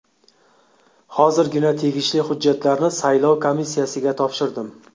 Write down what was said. Hozirgina tegishli hujjatlarni saylov komissiyasiga topshirdim.